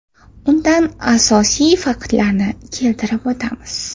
Undan asosiy faktlarni keltirib o‘tamiz.